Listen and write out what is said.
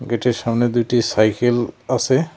গেটের সামনে দুইটি সাইকেল আসে।